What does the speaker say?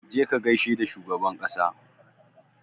Je ka gaishe da shugaban ƙasa!